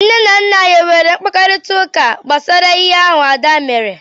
Nne na nna anyị enwere mkparịtaụka gbasara ihe ahụ Ada mere?